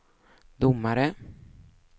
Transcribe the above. domare